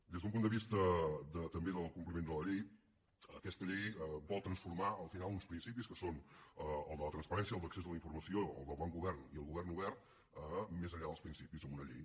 des d’un punt de vista també del compliment de la llei aquesta llei vol transformar al final uns principis que són el de la transparència el d’accés a la informació el del bon govern i el govern obert més enllà dels principis amb una llei